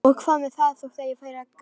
Og hvað með það þótt ég færi að gráta?